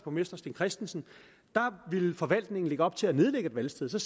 borgmester steen christensen ville forvaltningen lægge op til at nedlægge et valgsted så